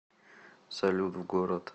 салют в город